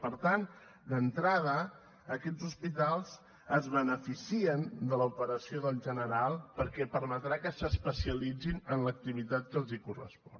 per tant d’entrada aquests hospitals es beneficien de l’operació del general perquè permetrà que s’especialitzin en l’activitat que els correspon